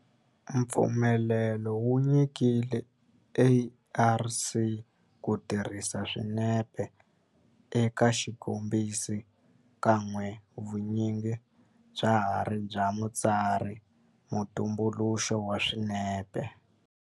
Mpfumelelo wu nyikiwile ARC ku tirhisa swinepe eka xikombiso kambe vun'winyi bya ha ri bya mutsari-mutumbuluxi wa swinepe.